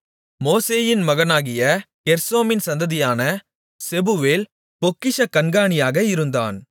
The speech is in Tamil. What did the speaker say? மோசேயின் மகனாகிய கெர்சோமின் சந்ததியான செபுவேல் பொக்கிஷக் கண்காணியாக இருந்தான்